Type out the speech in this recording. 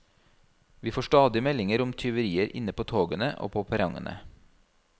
Vi får stadig meldinger om tyverier inne på togene og på perrongene.